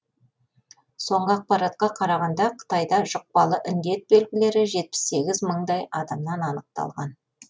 соңғы ақпаратқа қарағанда қытайда жұқпалы індет белгілері жетпіс сегіз мыңдай адамнан анықталған